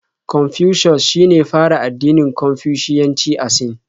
Confucius shine ya fara addinin Konfushiyanci a Sin.